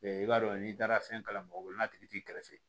I b'a dɔn n'i taara fɛn kalan mɔgɔ woloma tigi t'i kɛrɛfɛ